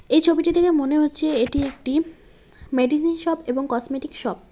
এই ছবিটি দেখে মনে হচ্ছে এটি একটি মেডিসিন শপ এবং কসমেটিক শপ ।